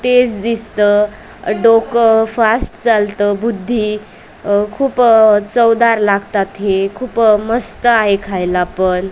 तेच दिसतं डोकं फास्ट चालतो बुद्धी अ खूप अ चवदार लागतात हे खूप मस्त आहे. खायला पण.